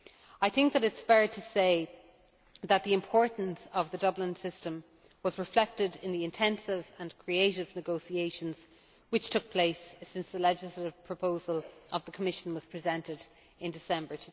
It is fair to say that the importance of the Dublin System was reflected in the intensive and creative negotiations which have taken place since the legislative proposal of the Commission was presented in December